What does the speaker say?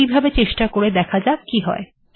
এইভাবে চেষ্টা করে দেখা যাক কি হয়